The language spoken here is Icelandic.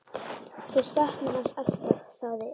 Þú saknar hans alltaf, sagði